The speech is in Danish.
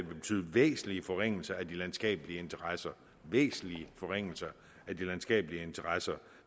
vil betyde væsentlige forringelser af de landskabelige interesser væsentlige forringelser af de landskabelige interesser